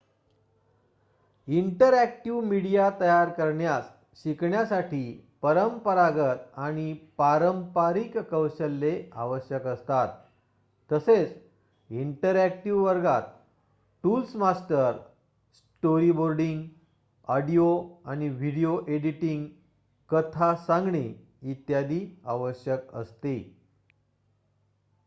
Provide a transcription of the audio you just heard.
Interactive media तयार करण्यास शिकण्यासाठी परंपरागत आणि पारंपारिक कौशल्ये आवश्यक असतात तसेच इंटरअॅक्टिव वर्गात टूल्स मास्टर स्टोरीबोर्डिंग ऑडिओ आणि व्हिडिओ एडिटिंग कथा सांगणे इत्यादी. आवश्यक असते